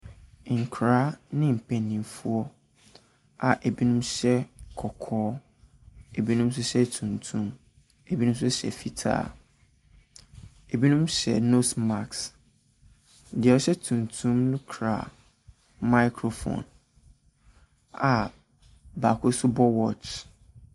Nkwadaa ne mpaninfoɔ a ebi nom hyɛ kɔkɔɔ, ebi nom nso hyɛ tuntum, ebi nom hyɛ fitaa, ebi nom hyɛ 'nose mask'. Deɛ ɔhyɛ tuntum no kura 'microphone' a baako nso bɔ 'watch'.